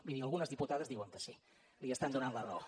miri algunes diputades diuen que sí li estan donant la raó